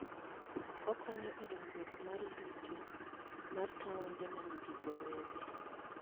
Okonyo e dongruok mar yuto mar taonde ma nigi dho wedhe.